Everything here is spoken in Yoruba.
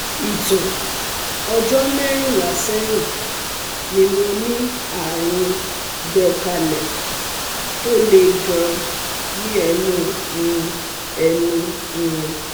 Ìtàn: ọjọ́ mẹ́rìnlá sẹ́yìn ni mo ní àrùn gbẹ̀kálẹ̀ tó le gan-an ní ẹnu um ẹnu um